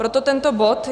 Proto tento bod.